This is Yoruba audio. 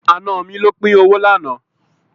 Àna mi ló pín owó lánàá.